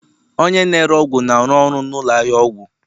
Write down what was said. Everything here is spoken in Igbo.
Onye na-ere ọgwụ na-arụ ọrụ na ụlọ ahịa ọgwụ